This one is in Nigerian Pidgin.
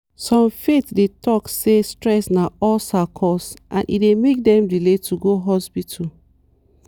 some faith dey talk say stress na ulcer cause and e dey make dem delay to go hospital.